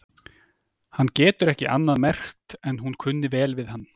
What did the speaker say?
Hann getur ekki annað merkt en hún kunni vel við hann.